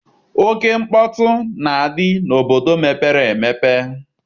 Oke mkpọtụ na-adị n'obodo mepere emepe.